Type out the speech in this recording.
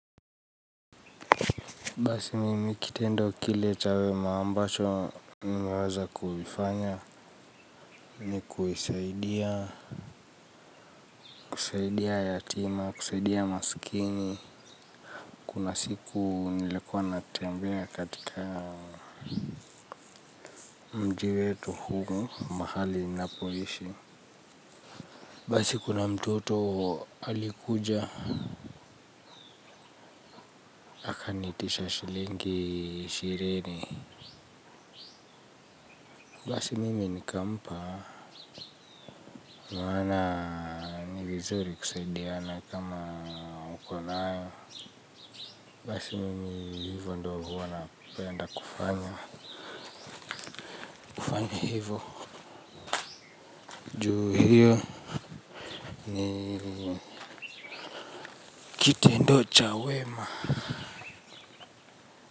Basi mimi kitendo kile cha, ambacho nimeweza kuifanya ni kuisaidia kusaidia yatima kusaidia maskini kuna siku nilikuwa natembea katika mji wetu huu, mahali ninapoishi basi kuna mtoto alikuja kaniitisha shilingi ishirini basi mimi nikampa maana ni vizuri kusaidiana kama uko nayo. Basi mimi hivyo ndio huwa napenda kufanya. Kufanya hivo, ju hio ni kitendo cha wema.